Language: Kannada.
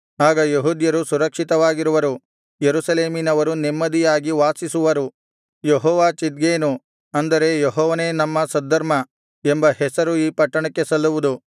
ಆಗ ಯೆಹೂದ್ಯರು ಸುರಕ್ಷಿತವಾಗಿರುವರು ಯೆರೂಸಲೇಮಿನವರು ನೆಮ್ಮದಿಯಾಗಿ ವಾಸಿಸುವರು ಯೆಹೋವ ಚಿದ್ಕೇನು ಅಂದರೆ ಯೆಹೋವನೇ ನಮ್ಮ ಸದ್ಧರ್ಮ ಎಂಬ ಹೆಸರು ಈ ಪಟ್ಟಣಕ್ಕೆ ಸಲ್ಲುವುದು